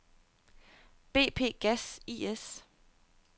BP Gas I/S